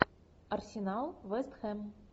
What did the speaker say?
арсенал вест хэм